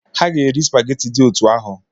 Ha ga-eri supageti dị otú ahụ.